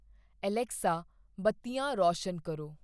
Alexa ਬੱਤੀਆਂ ਰੌਸ਼ਨ ਕਰੋ